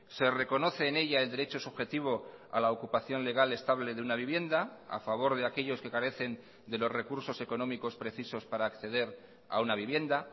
se reconoce en ella el derecho subjetivo a la ocupación legal estable de una vivienda a favor de aquellos que carecen de los recursos económicos precisos para acceder a una vivienda